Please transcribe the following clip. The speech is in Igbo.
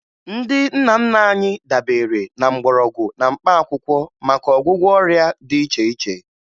Ndị nna nna anyị dabere na mgbọrọgwụ na mkpaakwụkwọ maka ọgwụgwọ ọrịa dị iche iche